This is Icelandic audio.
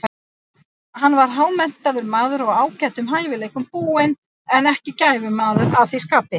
Hann var hámenntaður maður og ágætum hæfileikum búinn, en ekki gæfumaður að því skapi.